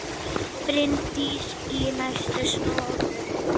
Bryndís í næstu stofu!